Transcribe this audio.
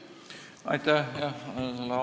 Aitäh!